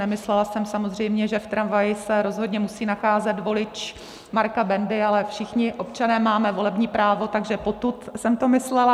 Nemyslela jsem samozřejmě, že v tramvaji se rozhodně musí nacházet volič Marka Bendy, ale všichni občané máme volební právo, takže potud jsem to myslela.